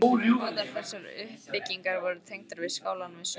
Báðar þessar byggingar voru tengdar við skálann með sömu göngunum.